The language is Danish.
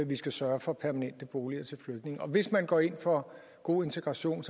vi skal sørge for permanente boliger til flygtninge og hvis man går ind for god integration